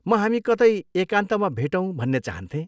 म हामी कतै एकान्तमा भेटौँ भन्ने चाहन्थेँ।